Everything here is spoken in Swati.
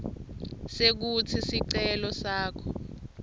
sekutsi sicelo sakho